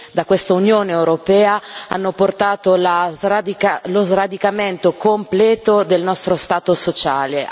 da questa Unione europea hanno portato allo sradicamento completo del nostro Stato sociale.